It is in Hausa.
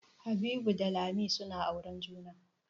Habibu da Lami suna auren juna.